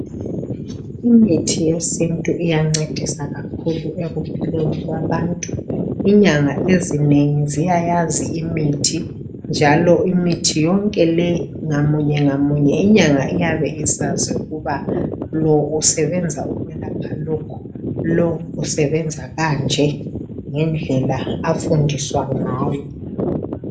Imithi yesintu iyamncedisa kakhulu ekuphileni kwabantu. Inyanga ezinengi ziyayazi imithi njalo imithi yonke le ngamunye ngamunye inyanga iyabe isazi ukuba lo usebenza ukulapha lokhu, lo usebenza kanje ngendlela afundiswa ngayo.